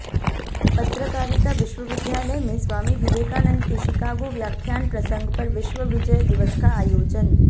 पत्रकारिता विश्वविद्यालय में स्वामी विवेकानंद के शिकागो व्याख्यान प्रसंग पर विश्व विजय दिवस का आयोजन